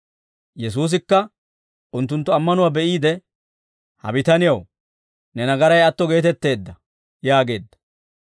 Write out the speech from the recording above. Yesuusikka unttunttu ammanuwaa be'iide, «Ha bitanew, ne nagaray atto geetetteedda» yaageedda.